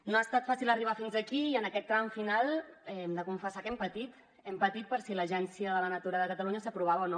no ha estat fàcil arribar fins aquí i en aquest tram final hem de confessar que hem patit hem patit per si l’agència de la natura de catalunya s’aprovava o no